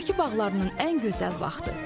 Bakı bağlarının ən gözəl vaxtı.